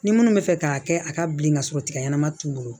Ni minnu bɛ fɛ k'a kɛ a ka bilen ka sɔrɔ tiga ɲɛnama t'u bolo